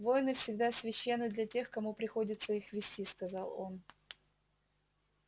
войны всегда священны для тех кому приходится их вести сказал он